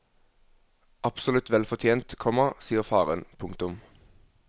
Absolutt vel fortjent, komma sier faren. punktum